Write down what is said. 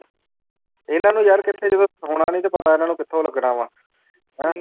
ਇਹਨਾਂ ਨੂੰ ਯਾਰ ਕਿੱਥੇ ਜਦੋਂ ਹੋਣਾਂ ਨੀ ਤੇ ਪਤਾ ਇਹਨਾਂ ਨੂੰ ਕਿੱਥੋਂ ਲੱਗਣਾ ਵਾਂ ਹੈਂ